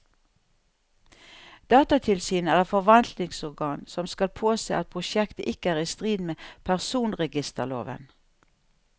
Datatilsynet er et forvaltningsorgan som skal påse at prosjektet ikke er i strid med personregisterloven.